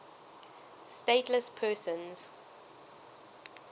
stateless persons